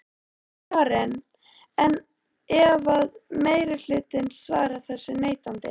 Karen: En ef að meirihlutinn svarar þessu neitandi?